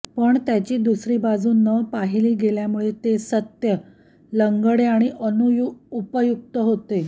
पण त्याची दुसरी बाजू न पाहिली गेल्यामुळे ते सत्य लंगडे आणि अनुपयुक्त होते